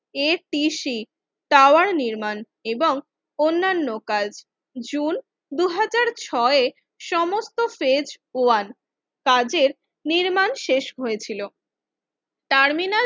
এ T C tower নির্মাণ এবং অন্যান্য কাজ জুন দুই হাজার ছয়ে সমস্ত পেজ ওয়ান কাজের নির্মাণ শেষ হয়েছিল টার্মিনাল